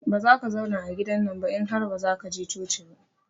Bazaka zauna a gidannan ba in har bazaka je coci ba.